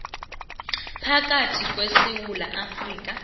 phakathi kwesewula afrika